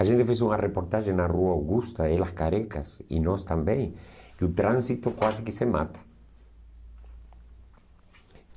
A gente fez uma reportagem na rua Augusta, Elas Carecas, e nós também, e o trânsito quase que se mata.